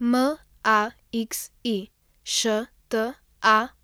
Maxi Štampar,